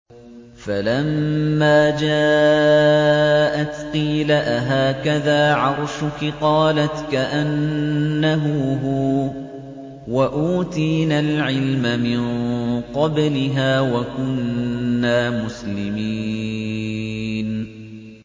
فَلَمَّا جَاءَتْ قِيلَ أَهَٰكَذَا عَرْشُكِ ۖ قَالَتْ كَأَنَّهُ هُوَ ۚ وَأُوتِينَا الْعِلْمَ مِن قَبْلِهَا وَكُنَّا مُسْلِمِينَ